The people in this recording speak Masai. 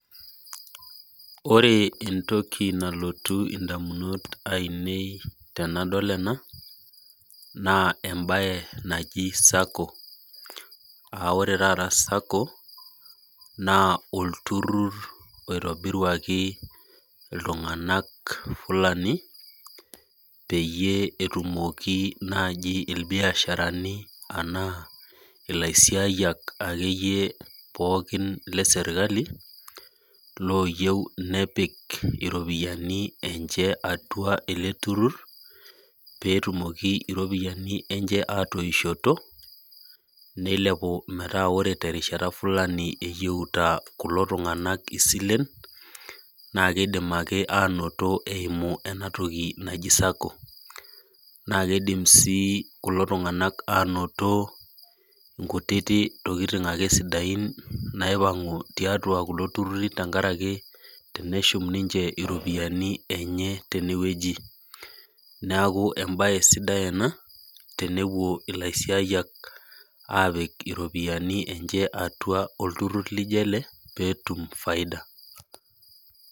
Ore entoki nalotu ndamunot ainei tanadol ena na embae naji Sacco na olturur oitobiruaki ltunganak fulani petum nai irbiasharani ilaisiayiak akeyie leserakli oyieu nepik ropiyani atua olturur petumokibripiyani enye atoishoto nilepu metaabore terishata Fulani eyioto kulo tunganak isien nakidim ake ainoto eimu enatoki naji sacco na kidim si kulo tunganak anoto nkutiti tokitin sidain naipangu tiatua kuko tururi tenkaraki tenashum ninche iropiyani enye tenewueji neaku embae sidai ena tenwpuo laisiayak atum ropiyani enye atua olturur lijo ele petum faida.